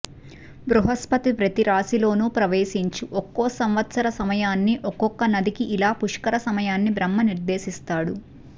బృహస్పతి ప్రతిరాశిలోను ప్రవేశించు ఒక్కో సంవత్సర సమయాన్ని ఒక్కొక్క నదికి ఇలా పుష్కర సమయాన్ని బ్రహ్మ నిర్దేశిస్తాడు